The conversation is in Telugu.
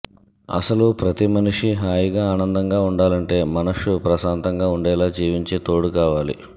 అసలు ప్రతి మనిషీ హాయిగా ఆనందంగా వుండాలంటే మనస్సు ప్రశాంతంగా వుండేలా జీవించే తోడు కావాలి